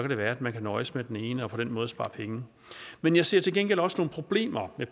det være at man kan nøjes med den ene og på den måde spare penge men jeg ser til gengæld også nogle problemer i